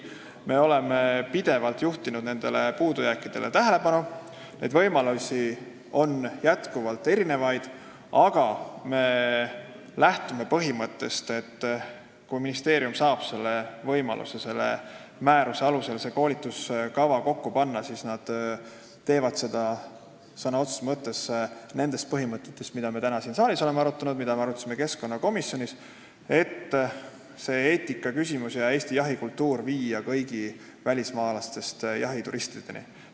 Me oleme pidevalt puudujääkidele tähelepanu juhtinud, võimalusi on erinevaid, aga me lähtume põhimõttest, et kui ministeerium saab võimaluse selle määruse alusel koolituskava kokku panna, siis seda tehakse sõna otseses mõttes nendele põhimõtetele tuginedes, mida me täna siin saalis oleme arutanud ja mida me arutasime keskkonnakomisjonis, et eetikaküsimust ja Eesti jahikultuuri teadvustada kõigi välismaalastest jahituristide seas.